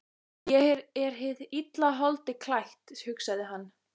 Ég er hið illa holdi klætt, hugsaði hann.